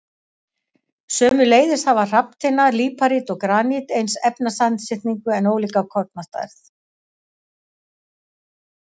Sömuleiðis hafa hrafntinna, líparít og granít eins efnasamsetning en ólíka kornastærð.